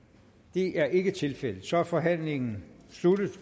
det er ikke tilfældet så er forhandlingen sluttet